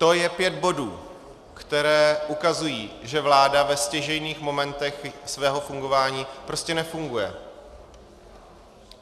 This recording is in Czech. To je pět bodů, které ukazují, že vláda ve stěžejních momentech svého fungování prostě nefunguje.